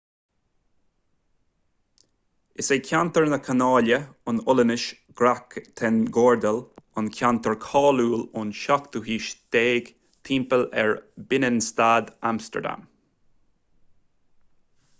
is é ceantar na canála an ollainnis: grachtengordel an ceantar cáiliúil ón 17ú haois timpeall ar binnenstad amstardam